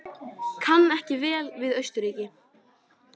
Kann ekki vel við Austurríki.